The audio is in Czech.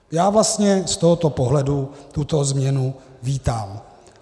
Já vlastně z tohoto pohledu tuto změnu vítám.